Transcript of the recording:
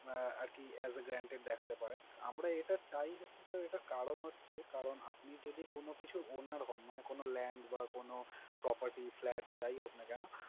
আহ আরকি as a guaranteed দেখাতে পারেন। আমরা এটা চাই হচ্ছে sir, এটার কারণ হচ্ছে, কারণ আপনি যদি কোনো কিছুর owner হোন, মানে কোনো land বা কোনো property, flat যাই হোক না কেনো